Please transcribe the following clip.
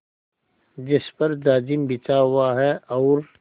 जिस पर जाजिम बिछा हुआ है और